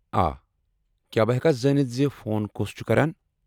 آ، کیٛاہ بہٕ ہٮ۪کا زانتھ زِ فون کُس چُھ کران؟